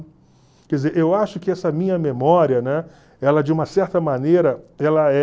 Quer dizer, eu acho que essa minha memória, né? Ela de uma certa maneira, ela é...